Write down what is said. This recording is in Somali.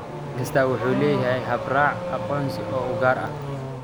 Waddan kastaa wuxuu leeyahay habraac aqoonsi oo u gaar ah.